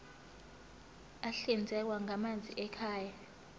ahlinzekwa ngamanzi ekhaya